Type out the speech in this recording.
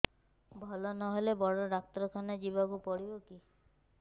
ଭଲ ନହେଲେ ବଡ ଡାକ୍ତର ଖାନା ଯିବା କୁ ପଡିବକି